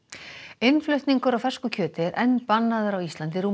innflutningur á fersku kjöti er enn bannaður á Íslandi rúmu